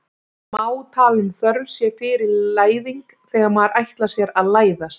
Má tala um þörf sé fyrir læðing þegar maður ætlar sér að læðast?